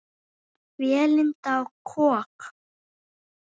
Vélinda og kok